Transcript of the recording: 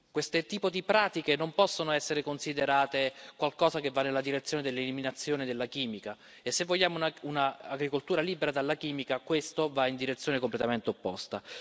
Questo tipo di pratiche non possono essere considerate qualcosa che va nella direzione dell'eliminazione della chimica e se vogliamo un'agricoltura libera dalla chimica questo va nella direzione completamente opposta.